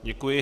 Děkuji.